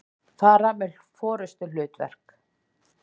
fara með forystuhlutverk.